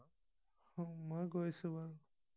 মই গৈছো বাৰু